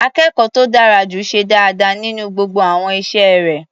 Akẹ́kọ̀ọ́ tó dára jù ṣe dáadáa nínú gbogbo àwọn iṣẹ́ rẹ̀.